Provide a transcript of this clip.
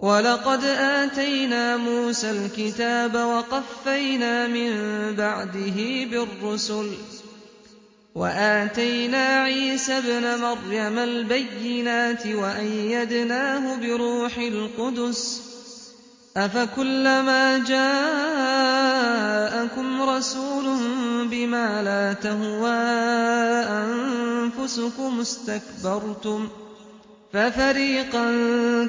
وَلَقَدْ آتَيْنَا مُوسَى الْكِتَابَ وَقَفَّيْنَا مِن بَعْدِهِ بِالرُّسُلِ ۖ وَآتَيْنَا عِيسَى ابْنَ مَرْيَمَ الْبَيِّنَاتِ وَأَيَّدْنَاهُ بِرُوحِ الْقُدُسِ ۗ أَفَكُلَّمَا جَاءَكُمْ رَسُولٌ بِمَا لَا تَهْوَىٰ أَنفُسُكُمُ اسْتَكْبَرْتُمْ فَفَرِيقًا